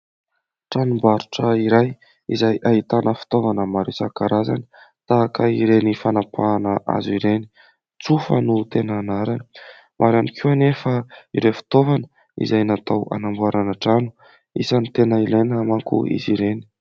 Tranombarotra iray izay ahitana fitaovana maro isan-karazany tahaka ireny fanapahana hazo ireny, tsofa no tena anarany. Maro ihany koa anefa ireny fitaovana izay natao hanamboarana trano ; isany tena ilaina manko izy ireny.